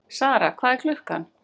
Sara, hvað er klukkan?